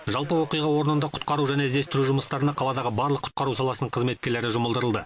жалпы оқиға орнында құтқару және іздестіру жұмыстарына қаладағы барлық құтқару саласының қызметкерлері жұмылдырылды